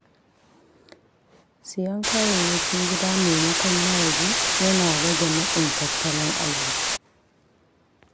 Siyan kayayyakin gida maimakon na waje yana rage matsin tattalin arziƙi.